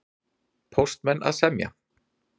Póstmenn að semja